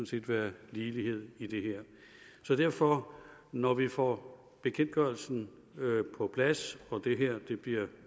set være ligelighed i det her så derfor når vi får bekendtgørelsen på plads og det her bliver